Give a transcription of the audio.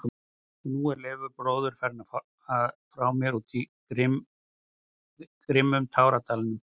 Og nú er Leifur bróðir farinn frá mér úr grimmum táradalnum.